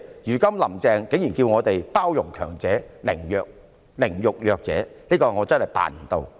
"如今"林鄭"竟然叫我們包容強者，凌辱弱者，我真的辦不到。